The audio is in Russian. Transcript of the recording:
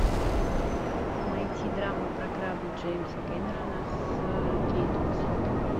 найти драму про корабль джеймса кэмерона с кейт уинслет